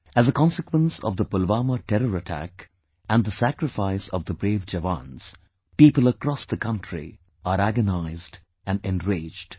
As a consequence of the Pulwama terror attack and the sacrifice of the brave jawans, people across the country are agonized and enraged